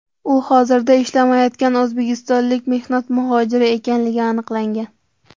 U hozirda ishlamayotgan o‘zbekistonlik mehnat muhojiri ekanligi aniqlangan.